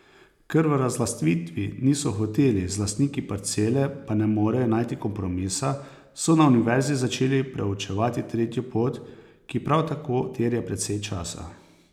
Ker v razlastitev niso hoteli, z lastniki parcele pa ne morejo najti kompromisa, so na univerzi začeli preučevati tretjo pot, ki prav tako terja precej časa.